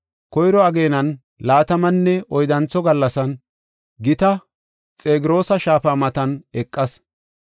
Koyro ageenan laatamanne oyddantho gallasan, gita Xegroosa shaafa matan eqas.